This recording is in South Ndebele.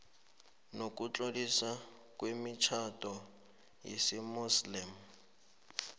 nokutloliswa kwemitjhado yesimuslimu